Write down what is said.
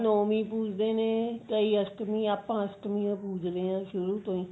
ਨੋਵੀਂ ਪੁਜਦੇ ਨੇ ਕਈ ਅਸਟਮੀ ਆਪਾਂ ਅਸ਼੍ਟਮੀ ਪੁਜਦੇ ਹਾਂ ਸ਼ੁਰੂ ਤੋਂ